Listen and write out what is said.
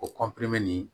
O nin